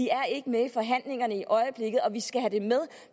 er ikke med i forhandlingerne i øjeblikket og vi skal have det med